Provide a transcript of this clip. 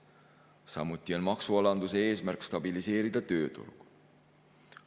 Samuti on maksualanduse eesmärk stabiliseerida tööturgu.